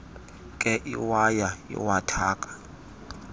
nkee iwaya iwathaka